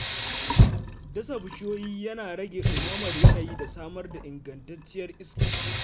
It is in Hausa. Dasa bishiyoyi yana rage ɗumamar yanayi da samar da ingantacciyar iska.